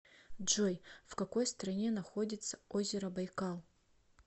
джой в какой стране находится озеро байкал